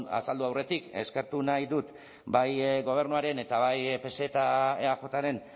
azaldu aurretik eskertu nahi dut bai gobernuaren eta bai pse eta eajren